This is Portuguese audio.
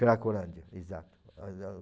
Cracolândia, exato.